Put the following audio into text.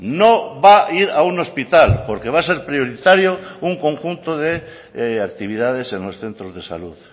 no va a ir a un hospital porque va a ser prioritario un conjunto de actividades en los centros de salud